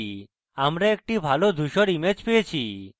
আমরা একটি ভালো ধূসর image পেয়েছি